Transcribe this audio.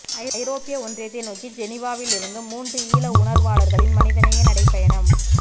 ஜரோப்பிய ஒன்றியத்தை நோக்கி ஜெனீவாவிலிருந்து மூன்று ஈழ உணர்வாளர்களின் மனிதநேய நடைப்பயணம்